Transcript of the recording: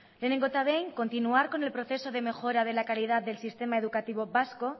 lehenengo eta behin continuar con el proceso de mejora de la calidad del sistema educativo vasco